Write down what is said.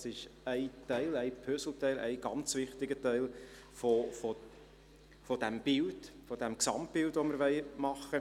Dies ist ein Puzzleteil und somit ein ganz wichtiger Teil des Gesamtbildes, das wir realisieren wollen.